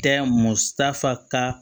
Tɛ musaka